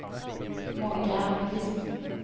Monica Almqvist